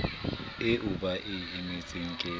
eo ba e emetseng ke